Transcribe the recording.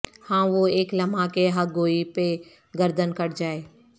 ہاں وہ اک لمحہ کہ حق گوئی پہ گردن کٹ جائے